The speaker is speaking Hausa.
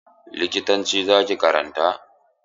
Likitanci za ki karanta?